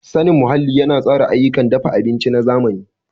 Sanin muhalli yana tsara ayyukan dafa abinci na zamani.